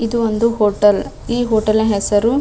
ಇದು ಒಂದು ಹೋಟೆಲ್ ಈ ಹೋಟೆಲ್ ನ ಹೆಸರು --